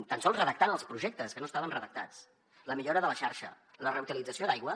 tan sols redactant els projectes que no estaven redactats la millora de la xarxa la reutilització d’aigua